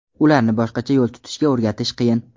Ularni boshqacha yo‘l tutishga o‘rgatish qiyin.